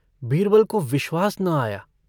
बीरबल को विश्वास न आया।